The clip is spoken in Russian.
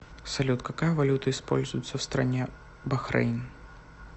салют какая валюта используется в стране бахрейн